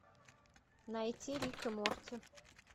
найти рика морти